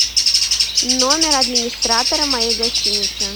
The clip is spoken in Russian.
номер администратора моей гостиницы